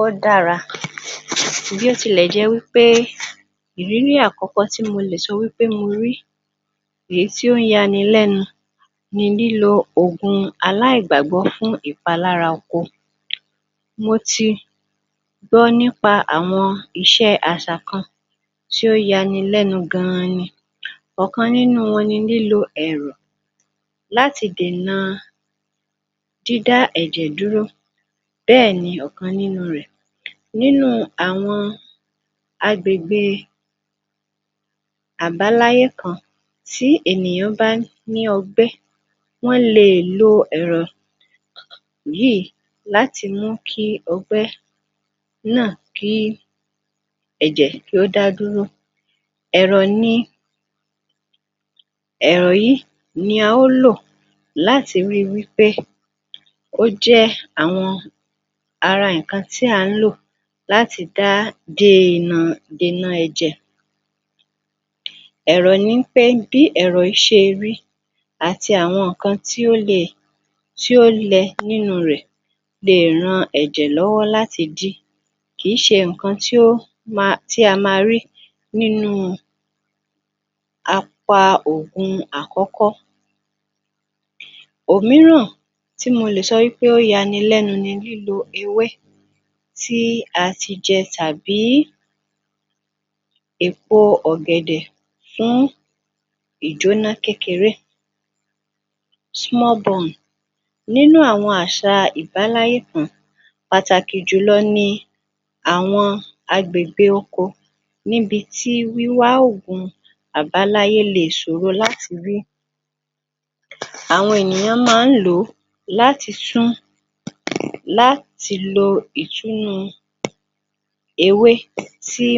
Ó dára, bí ó tilẹ̀ jẹ́ wí pé ìrírí àkọ́kọ́ tí mo lè sọ wí pé mo rí, èyí tí ó ń ya ni lẹ́nu ni lílo ògun-aláìgbàgbọ́ fún ìpalára oko. Mo ti gbọ́ nípa àwọn iṣẹ́ àṣà kan tí ó ya ni lẹnu gan-an ni. Ọ̀kan nínú wọn ni lílo ẹ̀rù láti dènà dídá ẹ̀jẹ̀ dúró bẹ́ẹ̀ ni ọ̀kan nínú rẹ̀. Nínú àwọn agbègbè àbáláyé kan, tí ènìyàn bá ní ọgbé, wọ́n lè lo ẹ̀rọ̀ yìí láti mú kí ọgbẹ́ náà kí ẹ̀jẹ̀ kí ó dá dúró. Ẹ̀rọ̀ ni, ẹ̀rọ̀ yìí ni a ó lò láti ri wí pé ó jẹ́ àwọn ara nǹkan tí à ń lò láti dá dee nà dènà ẹ̀jẹ̀. Ẹ̀rọ̀ ni ń pé bí ẹ̀rọ̀ yìí ṣe rí, àti àwọn nǹkan tí ó le, tí ó lẹ nínú rẹ̀ le ran ẹ̀jẹ̀ lọ́wọ́ láti dí. Kì í ṣe nǹkan tí ó ma tí a máa rí nínú apa-oògùn àkọ́kọ́. Òmíràn tí mo lè sọ wí pé ó ya ni lẹ́nu ni lílo ewé tí a ti jẹ tàbí èpo ọ̀gẹ̀dè fún ìjóná kékeré small burn. Nínú àwọn àṣà ìbáláyé kan, pàtàkì jùlọ ni àwọn agbègbè oko níbi tí wíwá oògun àbáláyé le ṣòro láti rí. Àwọn ènìyàn máa ń lò ó láti tún, láti lo ìtúnnu ewé tí,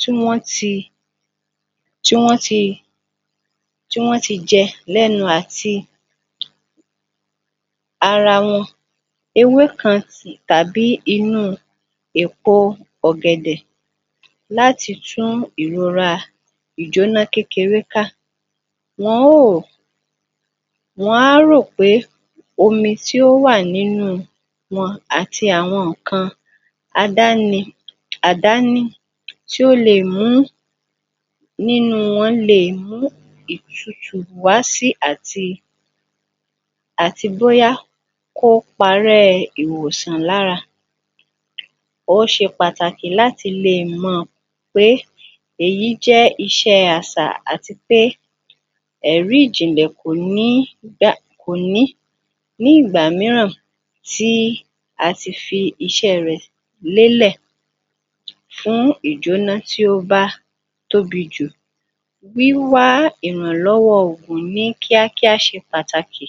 tí wọ́n ti, tí wọ́n ti, tí wọ́n ti jẹ lẹ́nu àti ara wọ́n, ewe kan tàbí inú èpo ọ̀gẹ̀dẹ̀ láti tún ìrora ìjóná kékeré ka. Wọn óò, wọn á rò pé omi tí ó wà nínú wọn àti àwọn nǹkan adáni, àdání tí ó lè mú nínú wọn lè mú ìtutù wá si àti bóyá kó parẹ́ ìwòsàn lára. Ó ṣe pàtàkì láti lè mọ̀ pé èyí jẹ́ iṣẹ́ àsà àti pé ẹ̀rí ìjìnlẹ̀ kò ní gba, kò ní ní ìgbà mìíràn ti a ti fi iṣẹ́ rẹ̀ lélè fún ìjóná tí ó bá tóbi jù wíwá ìrànlọ́wọ́ oògùn ní kíákíá ṣe pàtàkì.